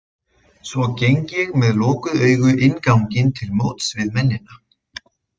Svo geng ég með lokuð augu inn ganginn til móts við mennina.